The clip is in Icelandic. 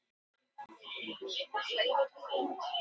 Á síðustu öld tókst að útrýma sulli á Íslandi.